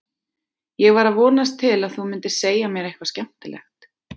Ég var að vonast til að þú mundir segja mér eitthvað skemmtilegt.